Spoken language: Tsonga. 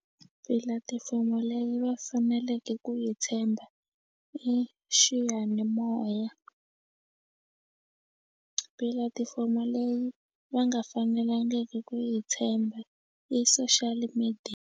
Pilatifomo leyi va faneleke ku yi tshemba i xiyanimoya pilatifomo leyi va nga fanelangiki ku yi tshemba i social .